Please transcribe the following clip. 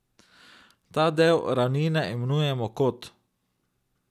Ta del ravnine imenujemo kot.